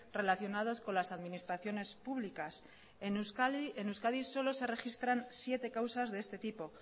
relacionadas con las administraciones públicas en euskadi solo se registran siete causas de este tipo